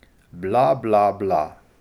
Bla, bla, bla...